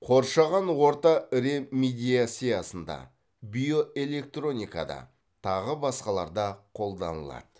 қоршаған орта ремедиациясында биоэлектроникада тағы басқаларда қолданылады